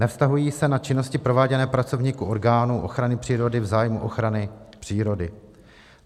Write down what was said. Nevztahují se na činnosti prováděné pracovníky orgánů ochrany přírody v zájmu ochrany přírody.